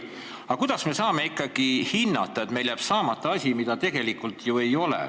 Aga kuidas me saame ikkagi hinnata, et meil jääb saamata asi, mida tegelikult ju ei ole?